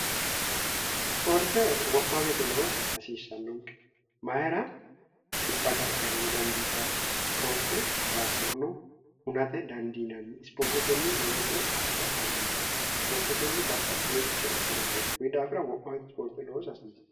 ispoorte wo'ma weete loosa hasiissannonke mayira xibba gargarano dandiita ispoorte daafirono hunate dandiinanni ispoortetenni lowo coye assa dandiinani ispoortetenni babbaxxe hojichoh assa dandiina kuyi daafira wo'ma weete ispoorte loosa hasiisse